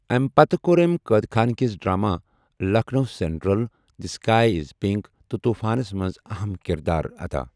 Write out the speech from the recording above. اَمہِ پتہٕ کوٚر أمہِ قٲد خانٕکِس drama 'Lucknow central', 'the sky is pink' تہٕ'طوٗفانس' منٛز اَہم کِردار اَدا۔